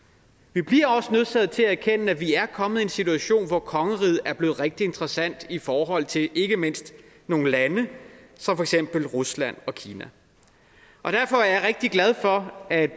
vi bliver også nødsaget til at erkende at vi er kommet i en situation hvor kongeriget er blevet rigtig interessant i forhold til ikke mindst nogle lande som for eksempel rusland og kina derfor er jeg rigtig glad for at